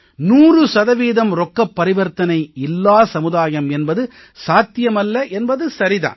நூறு சதவீதம் ரொக்கப் பரிவர்த்தனை இல்லா சமுதாயம் என்பது சாத்தியமல்ல என்பது சரி தான்